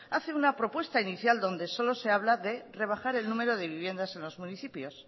hace una propuesta inicial donde solo se habla de rebajar el número de viviendas en los municipios